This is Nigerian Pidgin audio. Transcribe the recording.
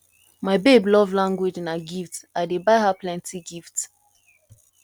my babe love language na gifts i dey buy her plenty gifts